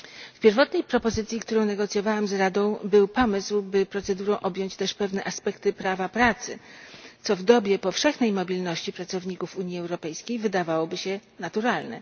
W pierwotnej propozycji, którą negocjowałam z Radą, był pomysł, by procedurą objąć też pewne aspekty prawa pracy, co w dobie powszechnej mobilności pracowników Unii Europejskiej wydawałoby się naturalne.